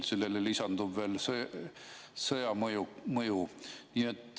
Sellele lisandub veel sõja mõju.